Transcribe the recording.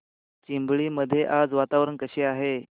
चिंबळी मध्ये आज वातावरण कसे आहे